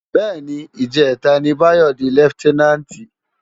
Bè ni, ijètá ni Bayo di lèfitènánti